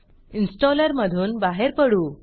इन्स्टॉलरमधून बाहेर पडू